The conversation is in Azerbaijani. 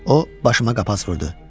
O başıma qapaz vurdu.